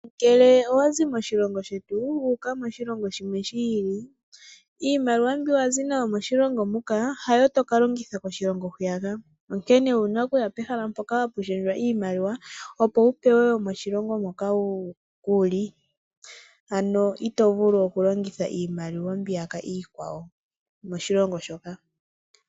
Ngele owazi moshilongo shetu wuuka moshilongo shimwe shi ili. Iimaliwa mbyoka wazi nayo moshilongo muka hayo tokalongitha koshilongo hwiyaka. Onkene owuna okuya pehala mpoka hapu shendjwa iimaliwa opo wu pewe iimaliwa yomoshilongo moka wuli, ano ito vulu okulongitha iimaliwa mbiyaka iikwawo moshilongo shoka.